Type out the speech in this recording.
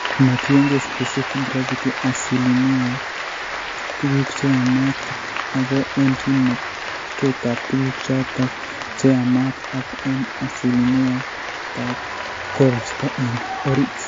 Ma tiengei specific gravity asilimia ap tuguuk che yaamaat kityo, ago eng' kimnatetap tuguuk chotok che yaamaat ak eng' asilimia ap koristow eng' orit.